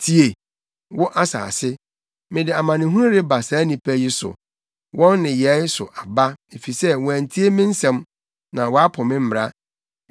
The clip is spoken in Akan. Tie, wo asase: Mede amanehunu reba saa nnipa yi so, wɔn nneyɛe so aba, efisɛ wɔantie me nsɛm na wɔapo me mmara.